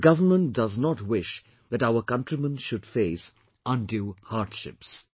The government does not wish that our countrymen should face undue hardships